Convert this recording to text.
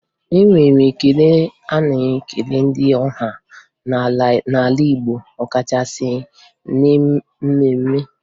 E nwere ekele a na-ekele ndị ọha n'ala Igbo ọkachasị na mmemme.